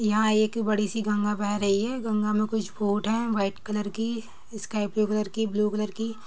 यहां एक बड़ी सी गंगा बह रही है। गंगा में कुछ बोट है वाइट कलर की स्काई ब्लू कलर की ब्लू कलर की।